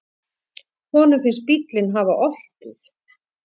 Honum finnst bíllinn hafa oltið.